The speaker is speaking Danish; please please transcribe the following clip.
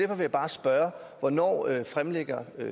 vil jeg bare spørge hvornår fremlægger